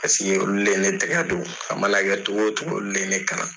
olu ne ye ne tɛgɛ don a mana kɛ cogo o cogo olu de ye ne kalan